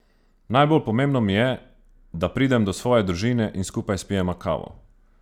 Najbolj pomembno mi je, da pridem do svoje družine in skupaj spijemo kavo.